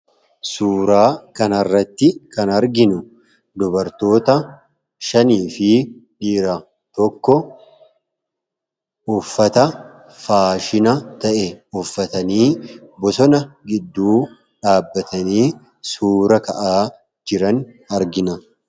suuraa kan arratti kan arginu dubartoota 5 fi dhiira tokko uffata faashina ta'e uffatanii bosona gidduu dhaabbatanii suura ka'aa jiran argina